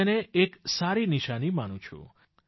હું તેને એક સારી નિશાની માનું છું